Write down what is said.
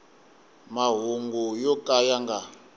mahungu yo ka ya nga